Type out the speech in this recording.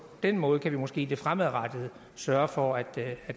den måde kan vi måske i det fremadrettede sørge for at